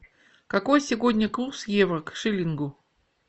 какой сегодня курс евро к шиллингу